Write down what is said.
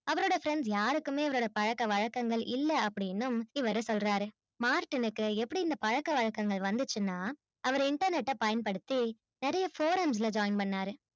அவரோட friends யாருக்கும் அவரோட பழக்கம் வழக்கம் இல்ல அப்டினு இவரு சொல்லறாரு martin கு எப்படி இந்த பழக்கம் வழக்கம் வந்துச்சின்னா அவரு internet அஹ பயன் படுத்தி நெறைய programs ல join பண்ணாரு